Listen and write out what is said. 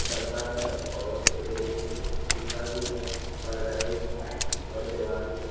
गद्दा है और फ्री अथी शीशा भी है पर्दा भी है और दीवार भी --